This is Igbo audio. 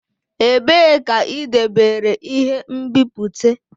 Ebee ka idobere ihe nbipute?